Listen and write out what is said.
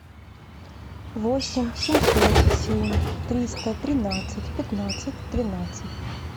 восемь семьсот семь триста тринадцать пятнадцать тринадцать